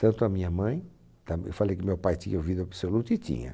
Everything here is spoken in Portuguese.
Tanto a minha mãe, tam eu falei que meu pai tinha ouvido absoluto e tinha.